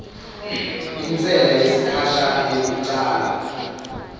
intsela yesikhashana yekucala